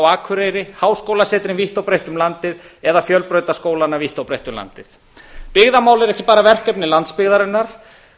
akureyri háskólasetrin vítt og breitt um landið eða fjölbrautaskólana vítt og breitt um landið byggðamál er ekki bara verkefni landsbyggðarinnar